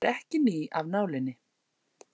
Sjálf gjaldtakan er ekki ný af nálinni.